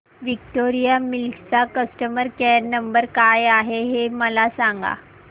Victoria Mills चा customer care number काय आहे हे मला सांगा